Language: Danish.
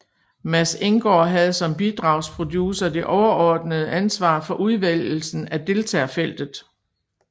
Mads Enggaard havde som bidragsproducer det overordnede ansvar for udvælgelsen af deltagerfeltet